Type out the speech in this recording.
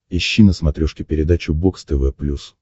ищи на смотрешке передачу бокс тв плюс